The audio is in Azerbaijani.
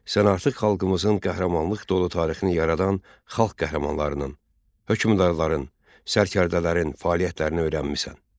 Sən artıq xalqımızın qəhrəmanlıq dolu tarixini yaradan xalq qəhrəmanlarının, hökmdarların, sərkərdələrin fəaliyyətlərini öyrənmisən.